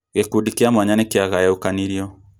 Gĩkundi kĩa mwanya nĩkĩagayukanirio